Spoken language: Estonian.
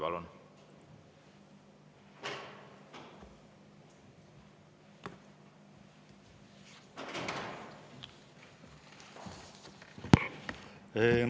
Palun!